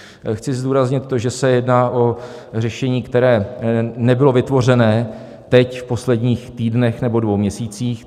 Chci zdůraznit to, že se jedná o řešení, které nebylo vytvořené teď v posledních týdnech nebo dvou měsících.